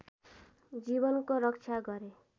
जीवनको रक्षा गरे